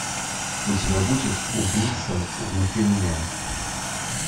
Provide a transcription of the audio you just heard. у тебя будет убийца внутри меня